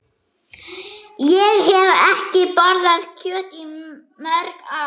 Ég hef ekki borðað kjöt í mörg ár.